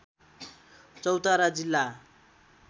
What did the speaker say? चौतारा जिल्ला